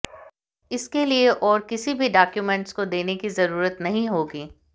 इसके लिए और किसी भी डॉक्यूमेंट्स को देने की जरूरत नहीं होगी